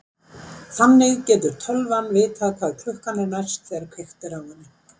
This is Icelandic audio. Þannig getur tölvan vitað hvað klukkan er næst þegar kveikt er á henni.